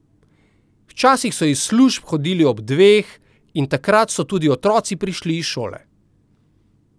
Včasih so iz služb hodili ob dveh in takrat so tudi otroci prišli iz šole.